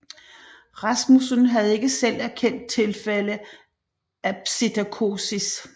Rasmussen havde ikke selv erkendt tilfælde af Psittacosis